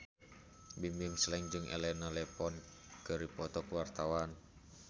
Bimbim Slank jeung Elena Levon keur dipoto ku wartawan